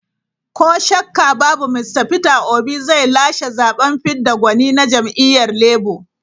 Ko shakka babu Mista Peter Obi zai lashe zaben fidda gwani na jam'iyyar Labour.